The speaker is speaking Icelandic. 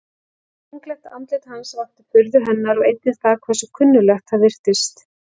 Unglegt andlit hans vakti furðu hennar og einnig það hversu kunnuglegt það virtist.